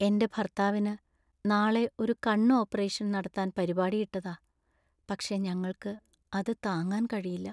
എൻറെ ഭർത്താവിന് നാളെ ഒരു കണ്ണ് ഓപ്പറേഷൻ നടത്താൻ പരിപാടി ഇട്ടതാ , പക്ഷേ ഞങ്ങൾക്ക് അത് താങ്ങാൻ കഴിയില്ല.